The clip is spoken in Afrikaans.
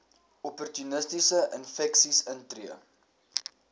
opportunistiese infeksies intree